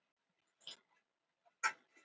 Vertu ekkert að trufla hana, það er fyrir bestu.